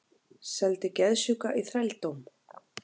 Seldi geðsjúka í þrældóm